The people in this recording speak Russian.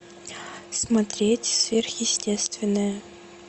смотреть сверхъестественное